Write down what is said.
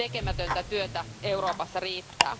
Tekemätöntä työtä Euroopassa riittää.